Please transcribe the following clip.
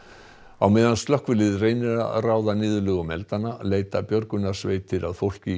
á meðan slökkvilið reynir að ráða niðurlögum eldanna leita björgunarsveitir að fólki í